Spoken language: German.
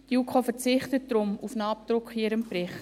Die JuKo verzichtet daher auf einen Abdruck in ihrem Bericht.